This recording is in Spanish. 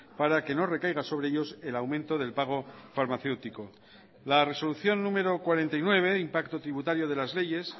para que no recaiga sobre ellos el aumento del pago farmacéutico la resolución número cuarenta y nueve impacto tributario de las leyes